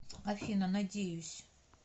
афина надеюсь